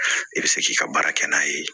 I bɛ se k'i ka baara kɛ n'a ye